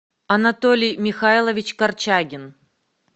анатолий михайлович корчагин